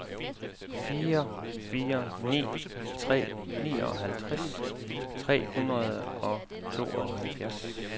fire fire ni tre nioghalvtreds tre hundrede og tooghalvfjerds